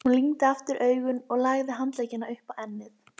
Hún lygndi aftur augunum og lagði handlegginn upp á ennið.